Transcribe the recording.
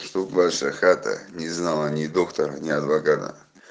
что б ваша хата не знала ни доктора ни адвоката